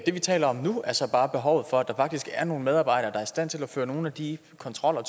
det vi taler om nu er så bare behovet for at der faktisk er nogle medarbejdere der er i stand til at føre nogle af de kontroller